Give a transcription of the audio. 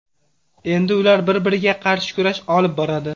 Endi ular bir-biriga qarshi kurash olib boradi.